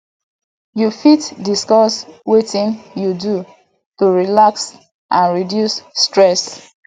you fit discuss wetin you do to relax and reduce stress